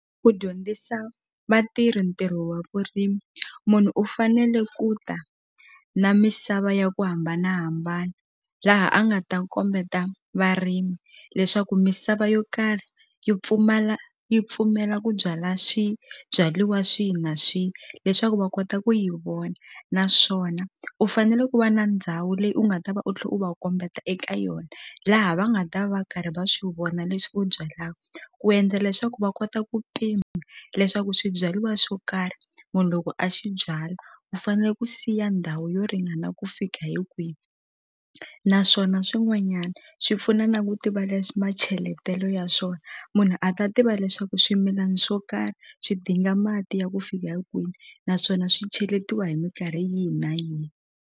Ku dyondzisa vatirhi ntirho wa vurimi munhu u fanele ku ta na misava ya ku hambanahambana laha a nga ta kombeta varimi leswaku misava yo karhi yi pfumala yi pfumela ku byala swibyaliwa swihi na swihi leswaku va kota ku yi vona naswona u fanele ku va na ndhawu leyi u nga ta va u tlhe u va kombeta eka yona laha va nga ta va karhi va swi vona leswi u byalaku ku endla leswaku va kota ku pima leswaku swibyariwa swo karhi munhu loko a xi byala u fanele ku siya ndhawu yo ringana ku fika hi kwihi naswona swin'wanyana swi pfuna na ku tiva leswi macheletelo ya swona munhu a ta tiva leswaku swimilana swo karhi swidinga mati ya ku fika hi kwini naswona swi cheletiwa hi mikarhi yihi na yihi.